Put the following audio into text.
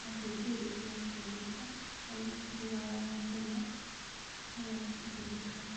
na kaingĩ thitima ciũrĩte harĩ mũtũrĩre wa o mũthenya nĩyo ĩhũthĩkaga.